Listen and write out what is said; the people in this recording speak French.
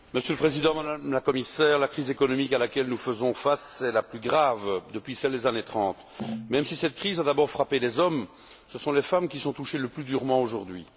Monsieur le Président, Madame la Commissaire, la crise économique à laquelle nous faisons face est la plus grave depuis celle des années 30. Même si cette crise a d'abord frappé les hommes, ce sont les femmes qui sont touchées le plus durement aujourd'hui.